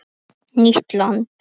Nýtt land